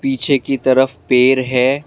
पीछे की तरफ पेर है।